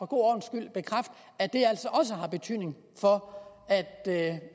god ordens skyld bekræfte at det altså også har betydning for